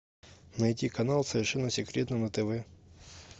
найти канал совершенно секретно на тв